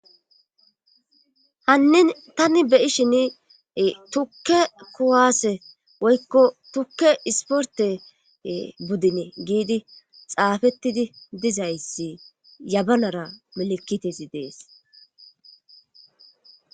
hannin tani be'ishin tukke kuwaase woykko tukke isporte buddine giidi xaafettidi dizayssi yabanara melekitei dees